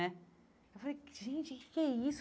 Né eu falei, gente, o que que é isso?